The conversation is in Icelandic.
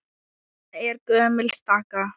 Þetta er gömul staka.